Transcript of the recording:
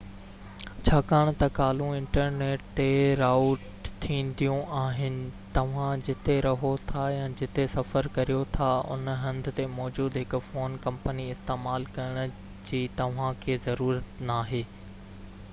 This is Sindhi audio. ڇاڪاڻ ته ڪالون انٽرنيٽ تي رائوٽ ٿينديون آهن توهان جتي رهو ٿا يا جتي سفر ڪريو ٿا ان هنڌ تي موجود هڪ فون ڪمپني استعمال ڪرڻ جي توهانکي ضرورت ناهي